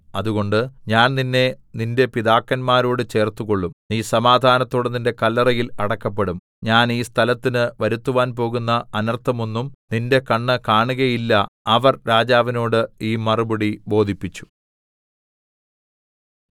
അതുകൊണ്ട് ഞാൻ നിന്നെ നിന്റെ പിതാക്കന്മാരോട് ചേർത്തുകൊള്ളും നീ സമാധാനത്തോടെ നിന്റെ കല്ലറയിൽ അടക്കപ്പെടും ഞാൻ ഈ സ്ഥലത്തിന് വരുത്തുവാൻ പോകുന്ന അനർത്ഥമൊന്നും നിന്റെ കണ്ണ് കാണുകയില്ല അവർ രാജാവിനോട് ഈ മറുപടി ബോധിപ്പിച്ചു